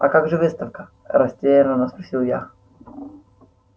а как же выставка растеряно спросила я